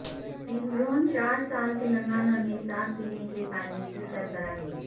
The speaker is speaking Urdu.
اندرون چار سال تلنگانہ میں صاف پینے کے پانی کی سربراہی